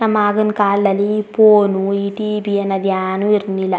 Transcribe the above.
ನಮ್ಮ ಆಗಿನ್ ಕಾಲದಲ್ಲಿ ಈ ಫೋನು ಈ ಟಿ.ವಿ ಅದ್ ಯಾನು ಇರಲಿಲ್ಲಾ.